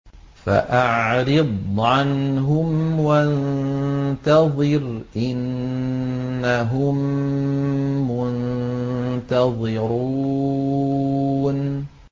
فَأَعْرِضْ عَنْهُمْ وَانتَظِرْ إِنَّهُم مُّنتَظِرُونَ